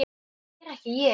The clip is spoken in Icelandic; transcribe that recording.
Það er ég ekki.